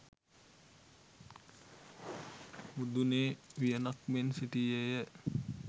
මුදුනේ වියනක් මෙන් සිටියේය.